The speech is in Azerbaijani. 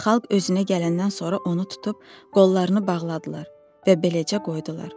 Xalq özünə gələndən sonra onu tutub qollarını bağladılar və beləcə qoydular.